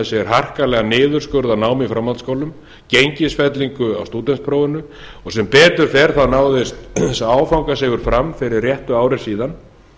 sér harkalegan niðurskurð á námi í framhaldsskólum gengisfellingu á stúdentsprófinu sem betur fer þá náðist þessi áfangasigur fram fyrir réttu ári síðan